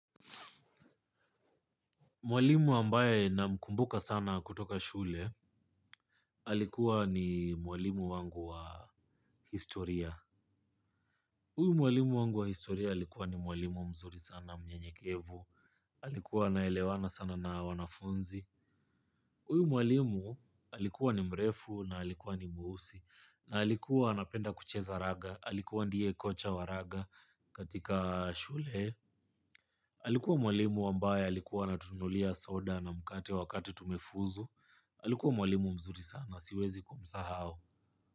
Mwalimu ambaye namkumbuka sana kutoka shule alikuwa ni mwalimu wangu wa historia. Uyu mwalimu wangu wa historia alikuwa ni mwalimu mzuri sana mnyenyekevu, alikuwa anaelewana sana na wanafunzi. Uyu mwalimu alikuwa ni mrefu na alikuwa ni mweusi na alikuwa anapenda kucheza raga alikuwa ndiye kocha wa raga katika shule. Alikuwa mwalimu ambaye alikuwa anatununulia soda na mkate wakati tumefuzu. Alikuwa mwalimu mzuri sana, siwezi kumsahao.